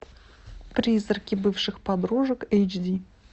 призраки бывших подружек эйч ди